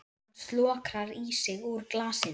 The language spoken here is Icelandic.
Hann slokrar í sig úr glasinu.